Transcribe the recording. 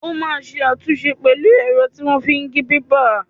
O máa ṣe àtúnṣe pẹ̀lú ẹ̀rọ tí wọ́n fi ń gé pépà.